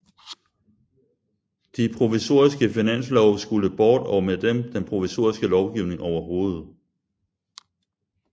De provisoriske finanslove skulle bort og med dem den provisoriske lovgivning overhovedet